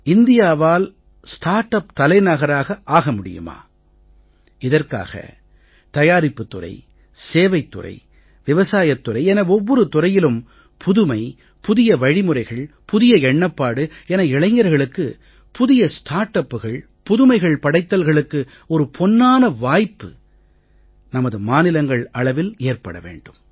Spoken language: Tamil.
இந்தியாவால் ஸ்டார்ட் உப் தலைநகராக ஆக முடியுமா இதற்காக தயாரிப்புத் துறை சேவைத் துறை விவசாயத் துறை என ஒவ்வொரு துறையிலும் புதுமை புதிய வழிமுறைகள் புதிய எண்ணப்பாடு என இளைஞர்களுக்கு புதிய ஸ்டார்ட் upகள் புதுமைகள் படைத்தல்களுக்கு ஒரு பொன்னான வாய்ப்பு நமது மாநிலங்கள் அளவில் ஏற்பட வேண்டும்